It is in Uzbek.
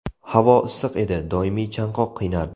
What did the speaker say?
Havo issiq edi , doimiy chanqoq qiynardi .